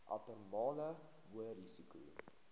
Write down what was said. abnormale hoë risiko